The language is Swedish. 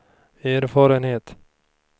erfarenhet